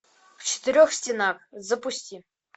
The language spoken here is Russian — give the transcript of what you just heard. в четырех стенах запусти